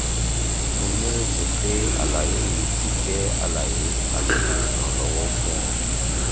mo nireti pe alaye yii ti jẹ alaye ati iranlọwọ fun ọ